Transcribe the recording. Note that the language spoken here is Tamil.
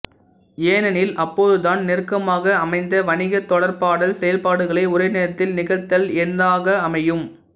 ஏனெனில் அப்போதுதான் நெருக்கமாக அமைந்த வணிக தொடர்பாடல் செயல்பாடுகளை ஒரே நேரத்தில் நிகழ்த்தல் ஏந்தாக அமையும்